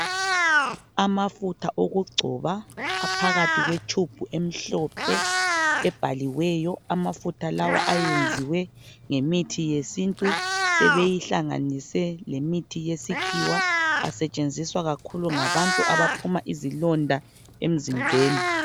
Amafutha okugcoba aphakathi kwetshubhu emhlophe ebhaliweyo, amafutha lawa ayenziwe ngemithi yesintu, sebeyihlanganise lemithi yesikhiwa asetshenziswa kakhulu ngabantu abaphuma izilonda emzimbeni.